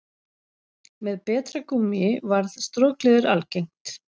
með betra gúmmíi varð strokleður algengt